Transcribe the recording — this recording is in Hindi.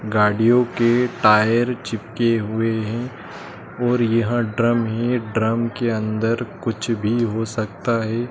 गाड़ियों के टायर चिपके हुए हैं और यह ड्रम है ड्रम के अंदर कुछ भी हो सकता है।